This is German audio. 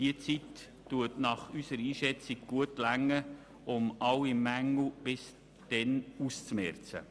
Diese Zeit ist nach unserer Einschätzung ausreichend, um alle Mängel auszumerzen.